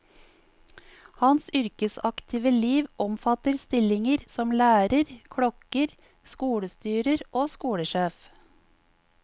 Hans yrkesaktive liv omfatter stillinger som lærer, klokker, skolestyrer og skolesjef.